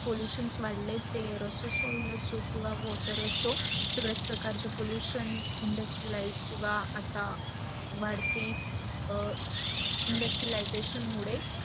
pollution वाढल्या ते air किव्वा असो या water असो, सगडच प्रकार चे pollution industrialize किव्वा आता मदती industralization मूढ